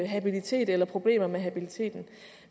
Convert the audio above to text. habilitet eller problemer med habiliteten